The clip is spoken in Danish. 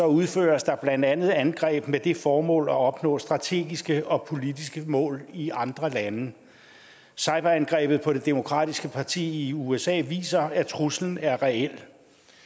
udføres der blandt andet angreb med det formål at opnå strategiske og politiske mål i andre lande cyberangrebet på det demokratiske parti i usa viser at truslen er reel